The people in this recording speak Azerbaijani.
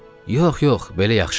Yox, yox, belə yaxşıdır, dedi.